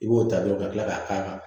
I b'o ta dɔrɔn ka tila k'a k'a kan